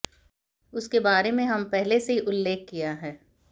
उसके बारे में हम पहले से ही उल्लेख किया है